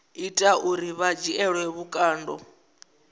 ita uri vha dzhielwe vhukando